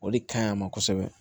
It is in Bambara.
O de kaɲi a ma kosɛbɛ